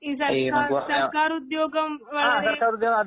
ഈ സർക്കാ സർക്കാരുദ്യോഗം വളരേ